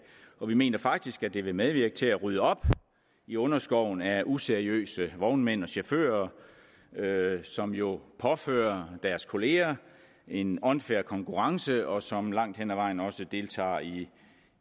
vi mener faktisk at det vil medvirke til at rydde op i underskoven af useriøse vognmænd og chauffører som jo påfører deres kolleger en unfair konkurrence og som langt hen ad vejen også deltager i